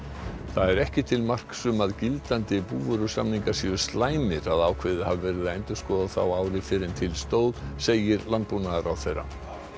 það er ekki til marks um að gildandi búvörusamningar séu slæmir að ákveðið hafi verið að endurskoða þá ári fyrr en til stóð segir landbúnaðarráðherra